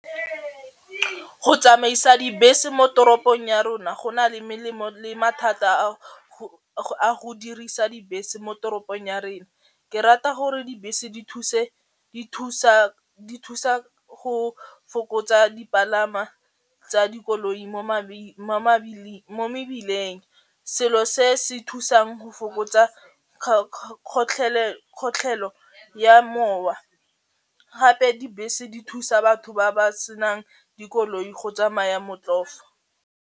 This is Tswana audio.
Go tsamaisa dibese mo toropong ya rona go na le melemo le mathata a go dirisa dibese mo toropong ya rena. Ke rata gore dibese di thuse di thusa go fokotsa dipalangwa tsa dikoloi mo mebileng, selo se se thusang go fokotsa kgotlhelo ya mowa. Gape dibese di thusa batho ba ba senang dikoloi go tsamaya .